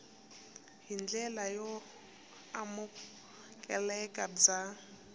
hi ndlela yo amukeleka bya